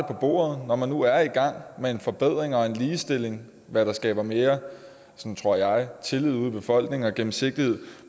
bordet når man nu er i gang med en forbedring og en ligestilling hvad der skaber mere tror jeg tillid ude i befolkningen og gennemsigtighed